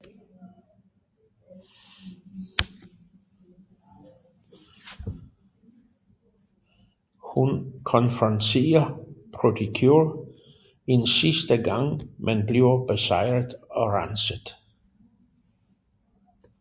Hun konfronterer Pretty Cure en sidste gang men bliver besejret og renset